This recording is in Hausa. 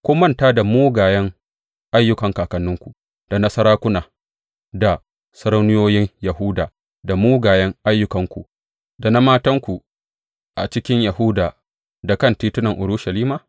Kun manta mugayen ayyukan kakanninku, da na sarakuna da sarauniyoyin Yahuda da mugayen ayyukanku, da na matanku a cikin Yahuda da kan titunan Urushalima?